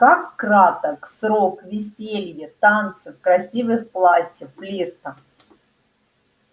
как краток срок веселья танцев красивых платьев флирта